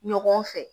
Ɲɔgɔn fɛ